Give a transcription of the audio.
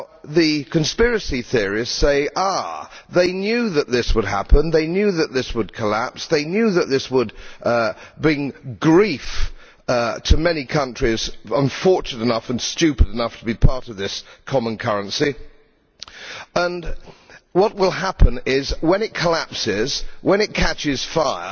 The conspiracies theorists say, ah they knew that this would happen, that this would collapse and that this would bring grief to many countries unfortunate enough and stupid enough to be part of this common currency, and what will happen is, when it collapses when it catches fire,